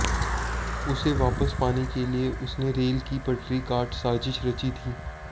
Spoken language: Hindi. उसे वापस पाने के लिए उसने रेल की पटरी काट साजिश रची थी